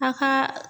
A ka